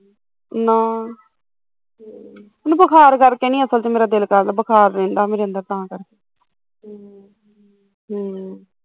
ਨਾ ਹਮ ਬੁਖਾਰ ਕਰਕੇ ਨੀ ਅਸਲ ਚ ਮੇਰਾ ਦਿਲ ਕਰਦਾ ਬੁਖਾਰ ਰਹਿੰਦਾ ਮੇਰੇ ਅੰਦਰ ਤਾਂ ਕਰਕੇ ਹਮ ਹਮ